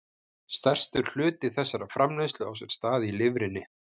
Stærstur hluti þessarar framleiðslu á sér stað í lifrinni.